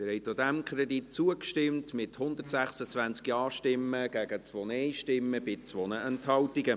Sie haben auch diesem Kredit zugestimmt, mit 126 Ja- gegen 2 Nein-Stimmen bei 2 Enthaltungen.